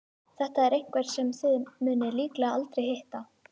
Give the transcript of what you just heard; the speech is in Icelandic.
Þetta er einhver sem þið munið líklega aldrei hitta.